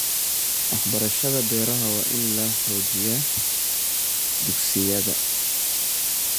Waxbarashada beeraha waa in la xoojiyaa dugsiyada.